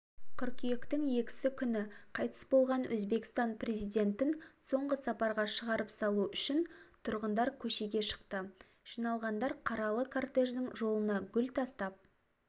қыркүйектің екісі күні қайтыс болған өзбекстан президентін соңғы сапарға шығарып салу үшін тұрғындар көшеге шықты жиналғандар қаралы кортеждің жолына гүл тастап